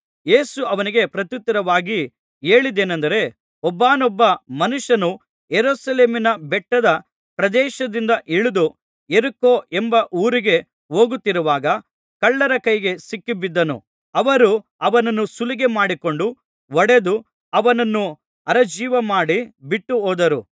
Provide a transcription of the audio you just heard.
ಯೇಸು ಅವನಿಗೆ ಪ್ರತ್ಯುತ್ತರವಾಗಿ ಹೇಳಿದ್ದೇನಂದರೆ ಒಬ್ಬಾನೊಬ್ಬ ಮನುಷ್ಯನು ಯೆರೂಸಲೇಮಿನ ಬೆಟ್ಟದ ಪ್ರದೇಶದಿಂದ ಇಳಿದು ಯೆರಿಕೋ ಎಂಬ ಊರಿಗೆ ಹೋಗುತ್ತಿರುವಾಗ ಕಳ್ಳರ ಕೈಗೆ ಸಿಕ್ಕಿಬಿದ್ದನು ಅವರು ಅವನನ್ನು ಸುಲಿಗೆ ಮಾಡಿಕೊಂಡು ಹೊಡೆದು ಅವನನ್ನು ಅರೆಜೀವಮಾಡಿ ಬಿಟ್ಟುಹೋದರು